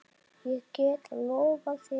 Ég get lofað þér því.